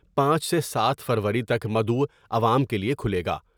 پانچ سے سات فروری تک مدعوعوام کے لئے کھلے گا۔